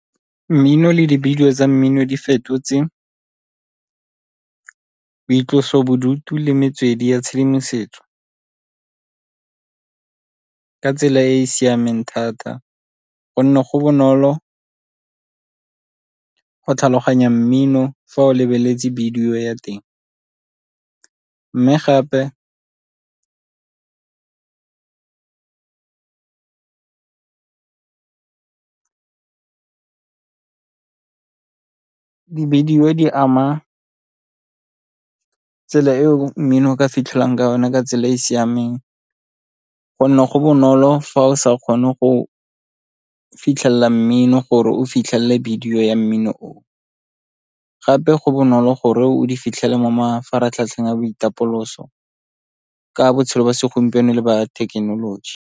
Mmino le dibidio tsa mmino di fetotse boitlosobodutu le metswedi ya tshedimosetso, ka tsela e e siameng thata gonne go bonolo go tlhaloganya mmino fa o lebeletse bidio ya teng. Mme gape dibidio di ama tsela eo mmino o ka fitlhelwang ka yone ka tsela e e siameng go nne go bonolo fa o sa kgone go fitlhelela mmino gore o fitlhelele bidio ya mmino o, gape go bonolo gore o di fitlhela mo mafaratlhatlheng ya boitapoloso ka botshelo jwa segompieno e le ba thekenoloji.